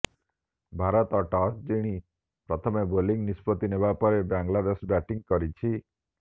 Bharat toss ଜିଣ ପ୍ରଥମେ bowling ନିଷ୍ପତ୍ତି ନେବା ପରେ ବାଂଲାଦେଶ ବ୍ୟାଟିଂ କରିଛି